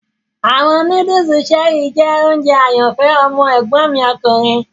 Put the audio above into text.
Awọn nudulu Cherie jẹ ounjẹ ayanfẹ ọmọ egbon mi okunrin